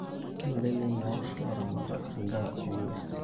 Kenare ningor ilaramatak endaa onguesin